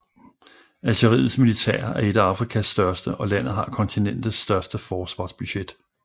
Algeriets militær er et af Afrikas største og landet har kontinentets største forsvarsbudget